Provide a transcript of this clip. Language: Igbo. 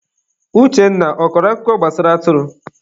Uchenna, ọ kọrọ akụkọ gbasara atụrụ?